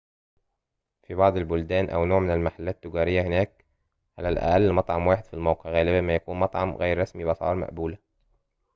في بعض البلدان أو نوع من المحلات التجارية هناك على الأقل مطعماً واحداً في الموقع غالباً ما يكون مطعماً غير رسمي بأسعار مقبولة